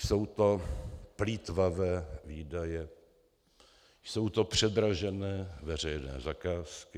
Jsou to plýtvavé výdaje, jsou to předražené veřejné zakázky.